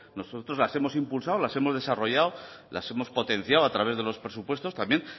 nosotros las hemos impulsado las hemos desarrollado las hemos potenciado a través de los presupuestos también